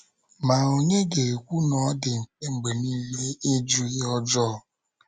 Ma, ònye ga - ekwu na ọ dị mfe mgbe nile ịjụ ihe ọjọọ?